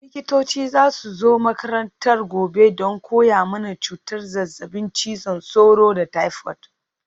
Likitoci za su zo makarantar gobe don koya mana cutar zazzabin cizon sauro da taifot.